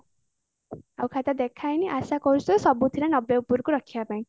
ଆଉ ଖାତା ଦେଖା ହେଇନି ଆଶାକରୁଛି ଯେ ସବୁଥିରେ ନବେ ଉପରକୁ ରଖିବା ପାଇଁ